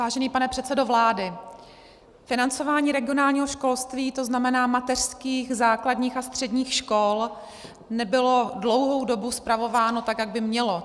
Vážený pane předsedo vlády, financování regionálního školství, to znamená mateřských, základních a středních škol, nebylo dlouhou dobu spravováno tak, jak by mělo.